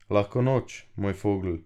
Lahko noč, moj Fogl.